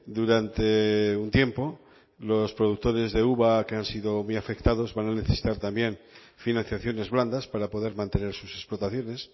durante un tiempo los productores de uva que han sido muy afectados van a necesitar también financiaciones blandas para poder mantener sus explotaciones